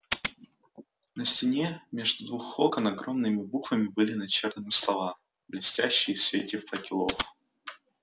на стене между двух окон огромными буквами были начертаны слова блестящие в свете факелов